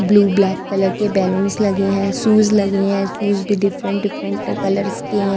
Blue black colour के balloons लगे हैं शूज लगे हैं शूज भी डिफरेंट डिफरेंट कलर्स के हैं।